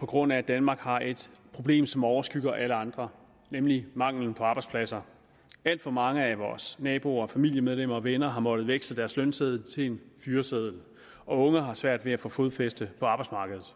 på grund af at danmark har et problem som overskygger alle andre nemlig mangelen på arbejdspladser alt for mange af vores naboer familiemedlemmer og venner har måttet veksle deres lønseddel til en fyreseddel og unge har svært ved at få fodfæste på arbejdsmarkedet